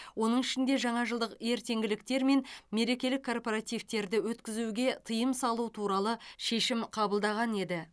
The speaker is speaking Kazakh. оның ішінде жаңа жылдық ертеңгіліктер мен мерекелік корпоративтерді өткізуге тыйым салу туралы шешім қабылдаған еді